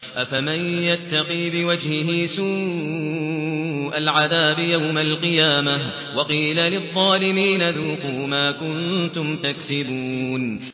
أَفَمَن يَتَّقِي بِوَجْهِهِ سُوءَ الْعَذَابِ يَوْمَ الْقِيَامَةِ ۚ وَقِيلَ لِلظَّالِمِينَ ذُوقُوا مَا كُنتُمْ تَكْسِبُونَ